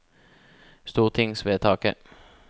stortingsvedtaket